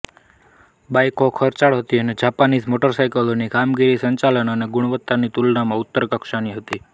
બાઇકો ખર્ચાળ હતી અને જાપાનીઝ મોટરસાયકલોની કામગીરી સંચાલન અને ગુણવત્તાની તુલનામાં ઉતરતી કક્ષાની હતી